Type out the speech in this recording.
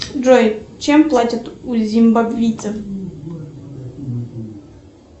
джой чем платят у зимбабвийцев